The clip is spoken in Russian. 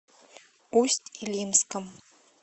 усть илимском